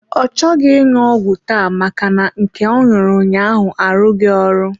Ọ chọghị ịṅụ ọgwụ taa maka na nke ọ ṅụrụ ụnyaahụ arughi ọrụ.